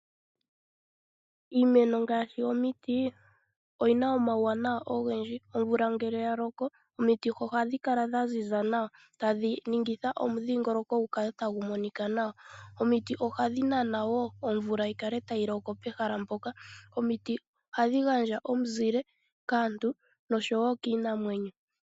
Iimeno ngaashi omiti, oyina omauwana ogendji. Omvula ngele ya loko, omiti ohadhi kala dha ziza nawa, tadhi ningitha omu dhiingoloko gu kale tagu monika nawa. Omiti ohadhi nana woo omvula yikale tayi loko pehala mpoka. Omiti ohadhi gandja omuzile kaantu, nosho woo kiinamwenyo.